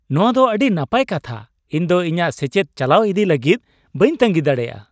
ᱱᱚᱶᱟ ᱫᱚ ᱟᱹᱰᱤ ᱱᱟᱯᱟᱭ ᱠᱟᱛᱷᱟ ! ᱤᱧ ᱫᱚ ᱤᱧᱟᱹᱜ ᱥᱮᱪᱮᱫ ᱪᱟᱞᱟᱣ ᱤᱫᱤᱭ ᱞᱟᱹᱜᱤᱫ ᱵᱟᱹᱧ ᱛᱟᱺᱜᱤ ᱫᱟᱲᱮᱭᱟᱜᱼᱟ ᱾